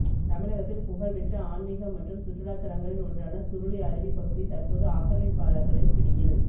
தமிழகத்தில் புகழ்பெற்ற ஆன்மிக மற்றும் சுற்றுலாதலங்களில் ஒன்றான சுருளி அருவி பகுதி தற்போது ஆக்கிரமிப்பாளா்களின் பிடியில்